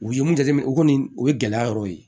U ye mun jateminɛ o kɔni o ye gɛlɛya yɔrɔ ye